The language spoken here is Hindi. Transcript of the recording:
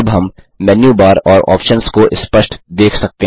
अब हम मेनू बार और ऑप्शन्स को स्पष्ट देख सकते हैं